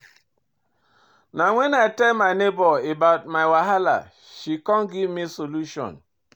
Na wen I tell my nebor about my wahala she come give me solution.